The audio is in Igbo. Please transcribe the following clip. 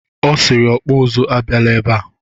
O siri ọkpọ ụzụ abiala ebe a.